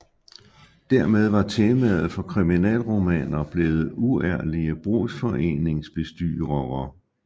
Dermed var temaet for kriminalromaner blevet uærlige brugsforeningsbestyrere